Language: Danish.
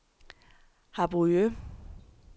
Harboøre